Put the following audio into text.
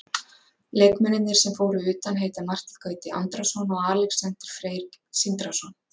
Leikmennirnir sem fóru utan heita Marteinn Gauti Andrason og Alexander Freyr Sindrason.